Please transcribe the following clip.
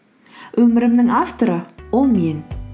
өмірімнің авторы ол мен